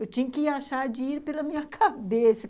Eu tinha que achar de ir pela minha cabeça.